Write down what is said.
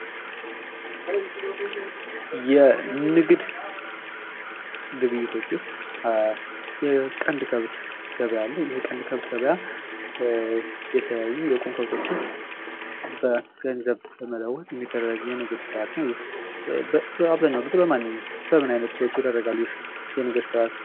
የንግድ ግብይቶች ውስጥ የቀንድ ከብት ገብያ አለ። የቀንድ ከብት የተለያዩ የቁም ከብቶችን በገንዘብ በመለወጥ የሚደረግ የንግድ ስርዓት ነው። ይኽ በአብዛኛው ጊዜ በማን በምን አይነት ሰዎች ይደረጋል ይኽ የንግድ ስርዓት?